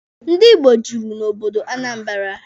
Ndi Igbo juru na obodo Anambara.